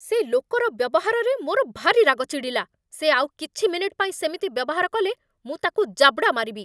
ସେ ଲୋକର ବ୍ୟବହାରରେ ମୋର ଭାରି ରାଗ ଚିଡ଼ିଲା । ସେ ଆଉ କିଛି ମିନିଟ୍ ପାଇଁ ସେମିତି ବ୍ୟବହାର କଲେ ମୁଁ ତାକୁ ଜାବଡ଼ା ମାରିବି ।